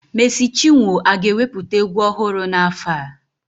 Mèési chinwo aga-ewepụta egwu ọhụrụ n'afọ a?